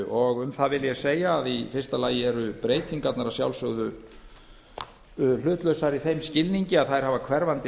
og um það vil ég segja að í fyrsta lagi eru breytingarnar að sjálfsögðu hlutlausar í þeim skilningi að þær hafa hverfandi